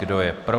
Kdo je pro?